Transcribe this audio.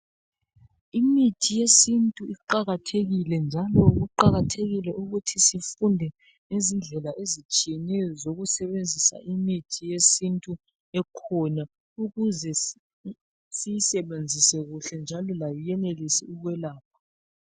Imithi yesintu iqakathekile njalo kuqakathekile ukuthi sifunde ngezindlela ezitshiyeneyo zokusebenzisa imithi yesintu ekhona ukuze siyisebenzise kuhle njalo layo iyenelise ukwelapha.